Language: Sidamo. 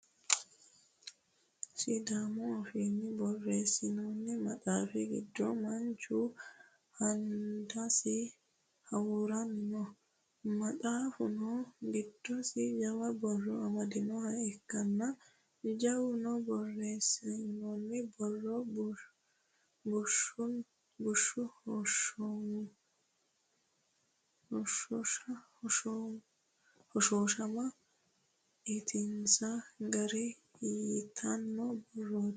Sidaamu afiinni borreessinoonni maxaaffi giddo Manchu hands hawuuranni no. Maxaaffuno giddosi jawa borro amadinoha ikkanna jawunni borreessinoonni borro bushshu hoshooshama ittinsanni gara yitanno borrooti.